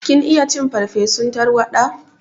Kin iya cin farsefun tarwaɗa?